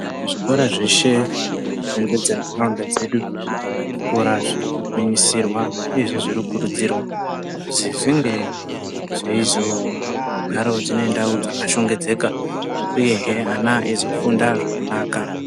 Zvikora zveshe zvakatenderedze nharaunda dzedu zvikora zviri kugwinyisirwa uyezve zviri kukurudzirwa kuzi zvinge zveizogarawo zvine nharaunda dzakashongedzeka uyehe ana eizofunda zvakanaka.